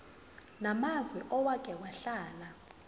namazwe owake wahlala